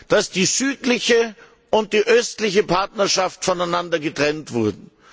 dass die südliche und die östliche Partnerschaft voneinander getrennt werden.